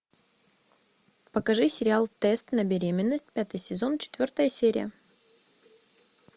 покажи сериал тест на беременность пятый сезон четвертая серия